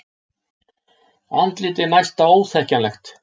Andlitið næsta óþekkjanlegt.